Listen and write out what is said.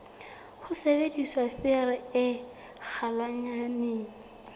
ho sebedisa thaere e kgolwanyane